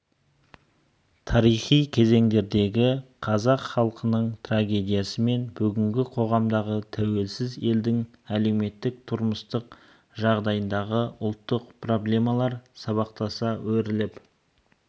тарихи кезеңдердегі қазақ халқының трагедиясы мен бүгінгі қоғамдағы тәуелсіз елдің әлеуметтік-тұрмыстық жағдайындағы ұлттық проблемалар сабақтаса өріліп